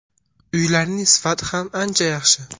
Uylarning sifati ham ancha yaxshi.